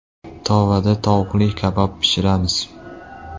Tovada tovuqli kabob pishiramiz.